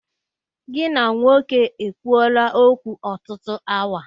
Gị na nwoke e kwuoola okwu ọtụtụ awa?